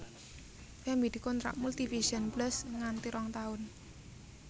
Femmy dikontrak Multivision Plus nganti rong taun